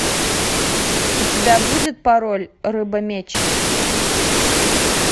у тебя будет пароль рыба меч